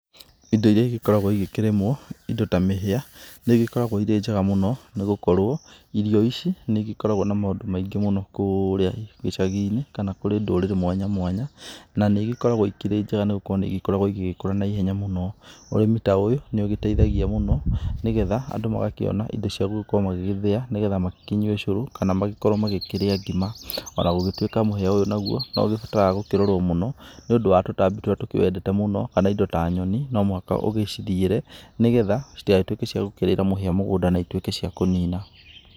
Indo iria igĩkoragwo igĩkĩrĩmwo, indo ta mĩhĩa nĩ ĩgĩkoragwo irĩ njega mũno, nĩ gũkorwo irio ici nĩigĩkoragwo na maũndũ maingĩ mũno kũrĩa gĩcagi-inĩ kana kurĩ ndũrĩrĩ mwanya mwanya. Na nĩigĩkoragwo ikĩrĩ njega nĩ gũkorwo nĩ igĩkoragwo igĩgĩkũra na ihenya mũno. Ũrĩmi ta ũyũ nĩ ũgĩteithagia mũno ni getha andũ magakĩona indo cia gũgĩkorwo magĩgĩthia ni getha makĩnyue ũcũrũ, kana magĩkorwo magĩkĩrĩa ngima, ona gũgĩtwĩka mũhĩa ũyũ naguo no ũgĩbataraga gũkĩrorũo mũno ni ũndũ wa tũtambi tũrĩa tũkĩwendete mũno, kana indo ta nyoni no muhaka ũgĩciriĩre, ni getha citigagĩtũĩke cia kũrĩĩra mũhĩa mugunda na ituĩke cia kũnina.